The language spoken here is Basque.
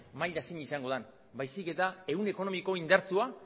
maila zein izango den baizik eta ehun ekonomiko indartsua